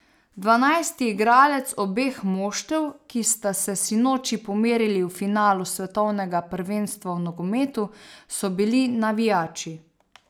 Dvanajsti igralec obeh moštev, ki sta se sinoči pomerili v finalu svetovnega prvenstva v nogometu, so bili navijači.